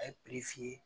A ye f'i ye